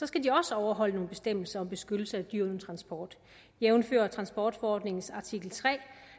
skal de også overholde nogle bestemmelser om beskyttelse af dyr transport jævnfør transportforordningens artikel tre